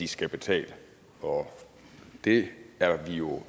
de skal betale og det er vi jo